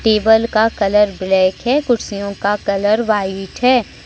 Table का colour black है कुर्सियों का कलर व्हाइट है।